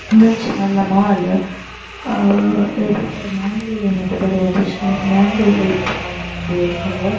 ಇಂದೊಂಜಿ ಮಲ್ಲ ಮಾಲ್ ಮ್ಯಾಂಗಳೂರ್ ಡೆ ಉಪ್ಪುನ .]